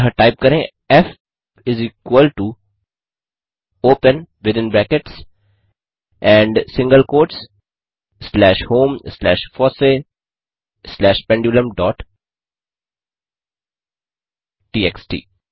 अतः टाइप करें f is equal to open within brackets and single quotes slash home slash FOSSEE slash pendulum dot TXT